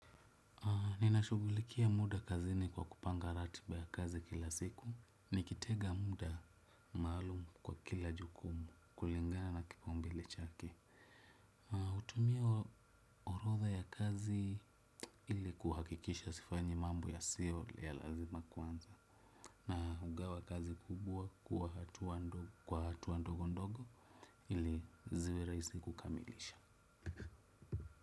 Ninashughulikia muda kazini kwa kupanga ratiba ya kazi kila siku. Nikitenga muda maalumu kwa kila jukumu kulingana na kipaumbele chake. Hutumia orodha ya kazi ili kuhakikisha sifanyi mambo yasiyo ya lazima kwanza. Na hugawa kazi kubwa kuwa hatua ndogondogo ili ziwe rahisi kukamilisha.